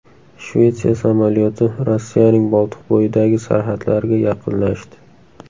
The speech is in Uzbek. Shvetsiya samolyoti Rossiyaning Boltiqbo‘yidagi sarhadlariga yaqinlashdi.